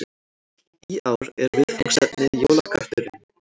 Í ár er viðfangsefnið Jólakötturinn